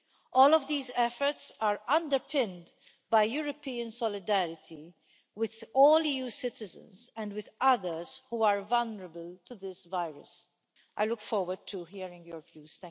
All of these efforts are underpinned by European solidarity with all EU citizens and with others who are vulnerable to this virus. I look forward to hearing your views.